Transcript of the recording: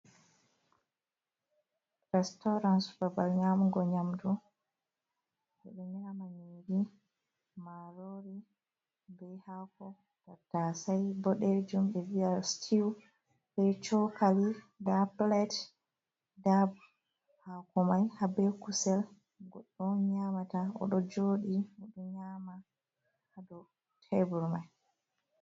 Restaurant babal nyamugo nyamdu, ɓeɗo nyama nyamdu, marori bei hako tatasai ɓodejum be viya stew be chokali, nda plate nda hako mai habe kusel, goɗdo on nyamata oɗo joɗi oɗo nyama ha dou tebur mai.